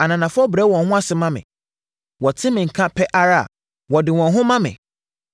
Ananafoɔ brɛ wɔn ho ase ma me; wɔte me nka pɛ ara a, wɔde wɔn ho ma me.